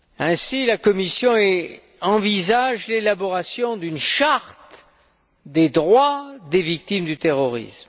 Ainsi, la Commission envisage t elle l'élaboration d'une charte des droits des victimes du terrorisme.